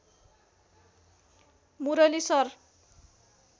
Murali sir